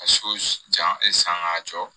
Ka so jan san k'a jɔ